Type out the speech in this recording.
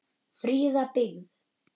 Fríða byggð.